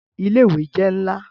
Ile-iwe jẹ nla